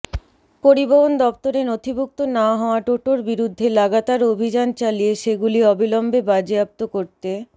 পরিবহণ দফতরে নথিভুক্ত না হওয়া টোটোর বিরুদ্ধে লাগাতার অভিযান চালিয়ে সেগুলি অবিলম্বে বাজেয়াপ্ত করতে